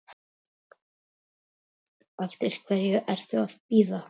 Eftir hverju ertu að bíða!